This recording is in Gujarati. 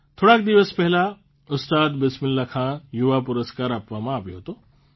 થોડાક દિવસ પહેલાં ઉસ્તાદ બિસ્મિલ્લાહખાન યુવા પુરસ્કાર આપવામાં આવ્યો હતો